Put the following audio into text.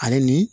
Ale ni